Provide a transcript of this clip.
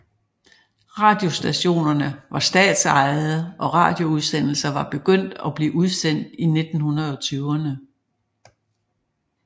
Radiostationerne var statsejede og radioudsendelser var begyndt at blive udsendt i 1920erne